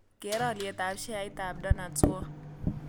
Keer alyetap sheaitap donuts world